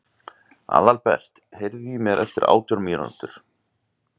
Aðalbert, heyrðu í mér eftir átján mínútur.